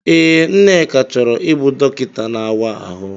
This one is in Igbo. Ee, Nneka chọrọ ịbụ dọkịta na-áwá ahụ.